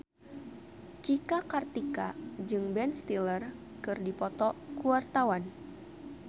Cika Kartika jeung Ben Stiller keur dipoto ku wartawan